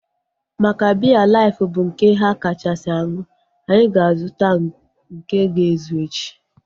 Maka biya life bụ nke ha kachasị aṅụ, anyị ga-azuta nke ga ezu echi